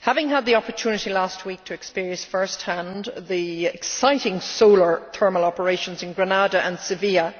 Having had the opportunity last week to experience first hand the exciting solar thermal operations in Grenada and Seville,